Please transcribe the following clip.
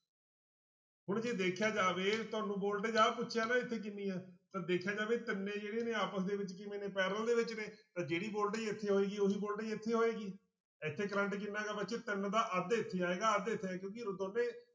ਹੁਣ ਜੇ ਦੇਖਿਆ ਜਾਵੇ ਤੁਹਾਨੂੰ voltage ਆਹ ਪੁੱਛਿਆ ਨਾ ਇੱਥੇ ਕਿੰਨੀ ਆਂ ਤਾਂ ਦੇਖਿਆ ਜਾਵੇ ਤਿੰਨੇ ਜਿਹੜੇ ਨੇ ਆਪਸ ਦੇ ਵਿੱਚ ਕਿਵੇਂ ਨੇ parallel ਦੇ ਵਿੱਚ ਨੇ ਤਾਂ ਜਿਹੜੀ voltage ਇੱਥੇ ਹੋਏਗੀ ਉਹੀ voltage ਇੱਥੇ ਹੋਏਗੀ, ਇੱਥੇ ਕਰੰਟ ਕਿੰਨਾ ਗਾ ਬੱਚਿਓ ਤਿੰਨ ਦਾ ਅੱਧ ਇੱਥੇ ਆਏਗਾ ਅੱਧ ਇੱਥੇ ਆਏ~ ਕਿਉਂਕਿ